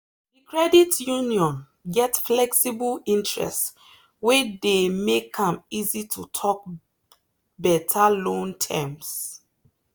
the credit union get flexible interest wey dey make am easy to talk better loan terms.